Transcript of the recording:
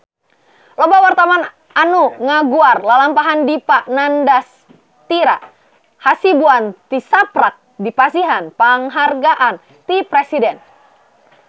Loba wartawan anu ngaguar lalampahan Dipa Nandastyra Hasibuan tisaprak dipasihan panghargaan ti Presiden